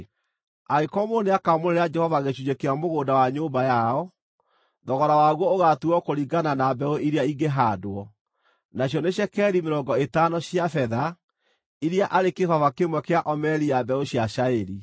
“ ‘Angĩkorwo mũndũ nĩakamũrĩra Jehova gĩcunjĩ kĩa mũgũnda wa nyũmba yao, thogora waguo ũgaatuuo kũringana na mbeũ iria ingĩhaandwo, nacio nĩ cekeri mĩrongo ĩtano cia betha, iria arĩ kĩbaba kĩmwe kĩa omeri ya mbeũ cia cairi.